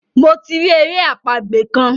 Mo ti ri èrè àpagbè kán.